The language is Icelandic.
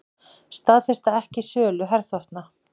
Staðfesta ekki sölu herþotna